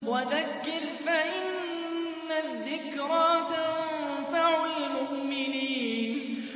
وَذَكِّرْ فَإِنَّ الذِّكْرَىٰ تَنفَعُ الْمُؤْمِنِينَ